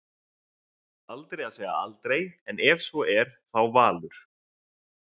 Aldrei að segja aldrei en ef svo er þá Valur.